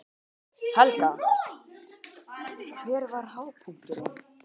Helga: Hver var hápunkturinn?